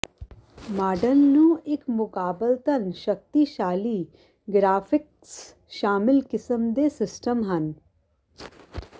model ਨੂੰ ਇੱਕ ਮੁਕਾਬਲਤਨ ਸ਼ਕਤੀਸ਼ਾਲੀ ਗਰਾਫਿਕਸ ਸ਼ਾਮਿਲ ਕਿਸਮ ਦੇ ਸਿਸਟਮ ਹਨ